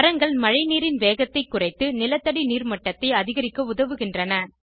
மரங்கள் மழைநீரின் வேகத்தை குறைத்து நிலத்தடி நீர் மட்டத்தை அதிகரிக்க உதவுகின்றன